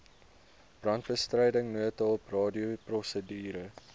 brandbestryding noodhulp radioprosedure